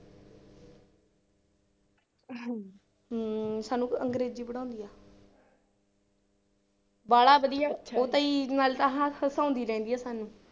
ਹਮ ਸਾਨੂੰ ਅੰਗਰੇਜ਼ੀ ਪੜ੍ਹਾਉਂਦੀ ਆ ਬਾਹਲਾ ਵਧੀਆ, ਉਹ ਤਾਂ ਜੀ ਨਾਲੇ ਤਾਂ ਹ ਹਸਾਉਂਦੀ ਰਹਿੰਦੀ ਆ ਸਾਨੂੰ।